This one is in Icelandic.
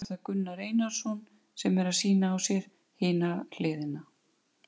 Afraksturinn stendur mönnum nú opinn til rannsókna.